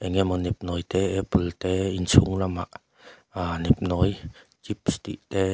eng emaw nep nawi te apple te inchhung lamah aa nepnawi chips tih te --